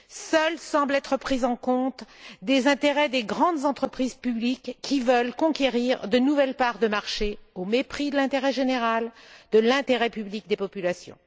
Seuls semblent être pris en compte les intérêts des grandes entreprises publiques qui veulent conquérir de nouvelles parts de marché, au mépris de l'intérêt général, de l'intérêt public des populations.